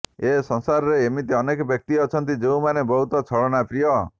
ଏ ସଂସାରରେ ଏମିତି ଅନେକ ବ୍ୟକ୍ତି ଅଛନ୍ତି ଯେଉଁମାନେ ବହୁତ ଛଳନା ପ୍ରିୟ